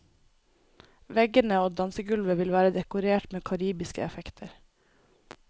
Veggene og dansegulvet vil være dekorert med karibiske effekter.